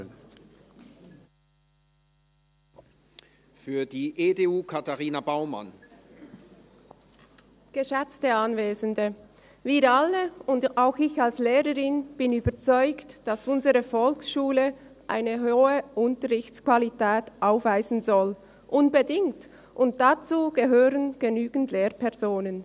Wir alle und auch ich als Lehrerin sind überzeugt, dass unsere Volksschule unbedingt eine hohe Unterrichtsqualität aufweisen soll, und dazu gehören genügend Lehrpersonen.